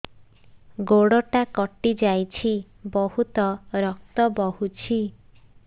ଗୋଡ଼ଟା କଟି ଯାଇଛି ବହୁତ ରକ୍ତ ବହୁଛି